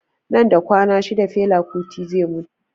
Nan da kwana shida fela kuti zai mutu